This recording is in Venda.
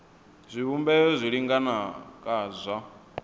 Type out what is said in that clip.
zwivhumbeo zwi linganaho kana zwa